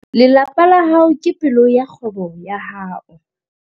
Lelapa la hao ke pelo ya kgwebo ya hao.